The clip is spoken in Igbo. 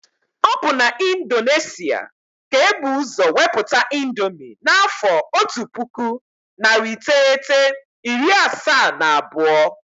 Ọ bụ na Indonesia ka ebu ụzọ weputa índomi n' afọ ọtu pụkụ narị iteghete, iri asaa na abụọ.